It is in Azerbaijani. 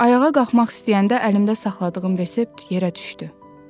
Ayağa qalxmaq istəyəndə əlimdə saxladığım resept yerə düşdü.